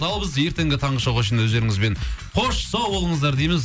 ал біз ертеңгі таңғы шоуға шейін өздеріңізбен қош сау болыңыздар дейміз